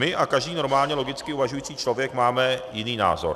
My a každý normálně logicky uvažující člověk máme jiný názor.